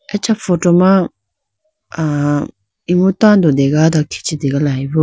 Acha photo ma ah imu tando dega do khichi tegalayi bo.